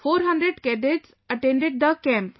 400 cadets attended the Camp